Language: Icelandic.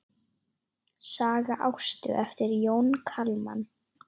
Saga Ástu eftir Jón Kalman.